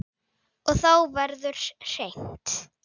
Og þá verður hreint.